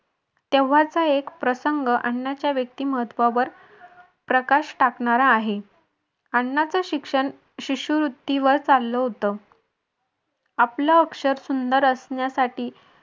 तेव्हाचा एक प्रसंग अण्णांच्या व्यक्तिमत्त्वावर प्रकाश टाकणारा आहे. अण्णांच शिक्षण शिष्यवृत्तीवर चाललं होतं. आपल अक्षर सुंदर असण्यासाठी